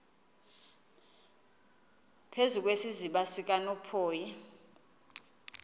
phezu kwesiziba sikanophoyi